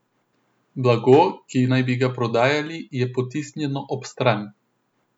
Blago, ki naj bi ga prodajali, je potisnjeno ob stran.